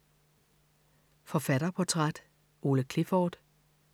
Forfatterportræt: Ole Clifford